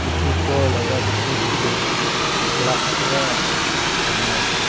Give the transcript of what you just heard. etu ghor laga khirki tu glass para banai se.